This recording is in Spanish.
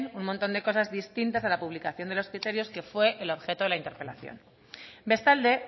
un montón de cosas distintas a la publicación de los criterios que fue el objeto de la interpelación bestalde